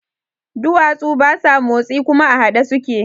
Duwatsu basa motsi kuma a haɗe suke